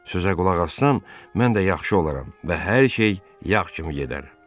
Sözə qulaq assam, mən də yaxşı olaram və hər şey yağ kimi gedər.